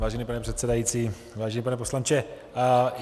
Vážený pane předsedající, vážený pane poslanče.